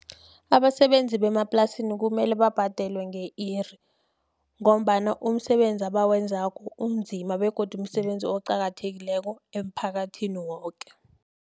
Abasebenzi bemaplasini kumele babhadelwe nge-iri, ngombana umsebenzi abawenzako unzima, begodu umsebenzi oqakathekileko emphakathini woke.